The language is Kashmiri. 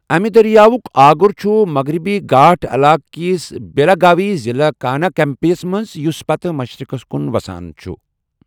امہِ دریاوُک آگُر چھُ مغربی گھاٹ علاقہٕ کِس بیلگاوی ضلعہٕ کاناکپمبِی منٛز یُس پتہٕ مشرِقَس کُن وَسان چھُ۔